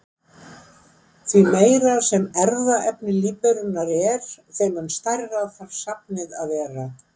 Því meira sem erfðaefni lífverunnar er þeim mun stærra þarf safnið að vera.